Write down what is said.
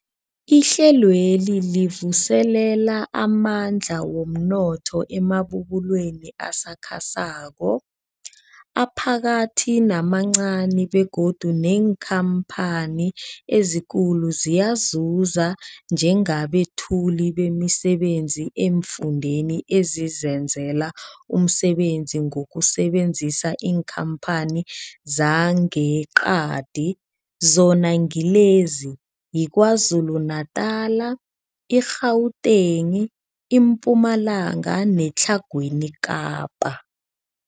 Ihlelweli livuselela amandla womnotho emabubulweni asakhasako, aphakathi namancani begodu neenkhamphani ezikulu ziyazuza njengabethuli bemisebenzi eemfundeni ezizenzela umsebenzi ngokusebenzisa iinkhamphani zangeqadi, zona ngilezi, yiKwaZulu-Natala, i-Gauteng, iMpumalanga neTlhagwini Kapa.